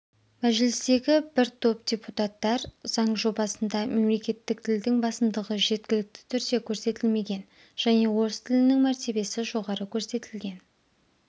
мәжілістегі бір топ депутаттар заң жобасында мемлекеттік тілдің басымдығы жеткілікті түрде көрсетілмеген және орыс тілінің мәртебесі жоғары көрсетілген